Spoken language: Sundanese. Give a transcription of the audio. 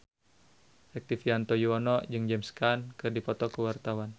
Rektivianto Yoewono jeung James Caan keur dipoto ku wartawan